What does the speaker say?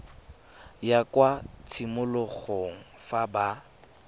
ya kwa tshimologong fa ba